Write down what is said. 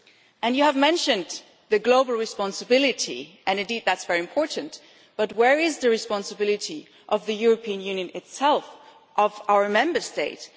And you have mentioned the global responsibility, and indeed that is very important, but where is the responsibility of the European Union itself, of our Member States?